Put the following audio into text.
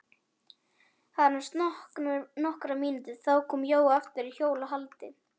Það liðu aðeins nokkrar mínútur, þá kom Jói aftur hjólandi.